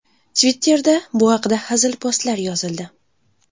Twitter’da bu haqda hazil postlar yozildi.